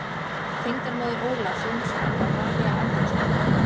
Tengdamóðir Ólafs Jónssonar var María Andrésdóttir.